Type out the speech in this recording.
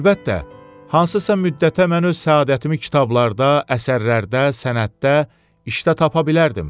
Əlbəttə, hansısa müddətə mən öz səadətimi kitablarda, əsərlərdə, sənətdə, işdə tapa bilərdim.